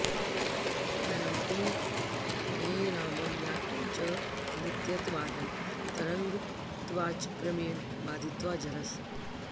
परमपि ङे रामं याटं च नित्य्त्वादन्तरङ्गत्वाच्च क्रमेण बाधित्वा जरस्